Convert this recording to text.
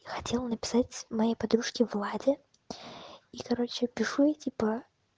я хотела написать моей подружке владе и короче я пишу ей типа